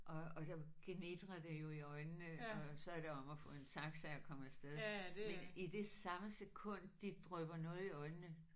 Og og der gnitrer det jo i øjnene og så er det om at få en taxa og komme afsted men i det samme sekund de drypper noget i øjnene